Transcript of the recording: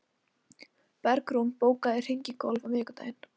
Bergrún, bókaðu hring í golf á miðvikudaginn.